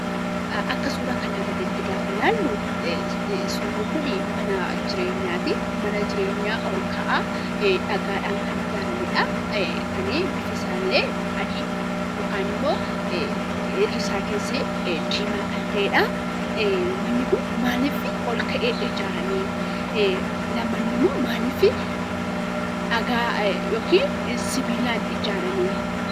Akka suura kanaa gadiitti gaafa laallu suurri kunii manaa jireenyaatii. Mana jireenyaa ol ka'aa dhagaadhaan kan ijaaramedhaa. Kanii bifisaallee adii yookaanimmoo irrisaa keessii diimaa kan ta'edhaa. Manni kun maalifii ol ka'ee ijaaramee? lammannimmoo maalifii dhagaa yookiin sibiilaan ijaaramee?